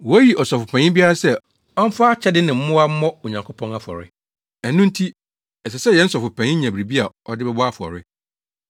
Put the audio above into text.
Woyi Ɔsɔfopanyin biara sɛ ɔmfa akyɛde ne mmoa mmɔ Onyankopɔn afɔre. Ɛno nti, ɛsɛ sɛ yɛn Sɔfopanyin nya biribi a ɔde bɛbɔ afɔre.